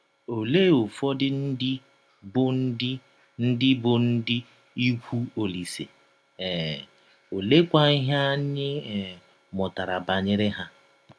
Ọlee ụfọdụ ndị bụ́ ndị ndị bụ́ ndị ikwụ Ọlise um, ọleekwa ihe anyị um mụtara banyere ha?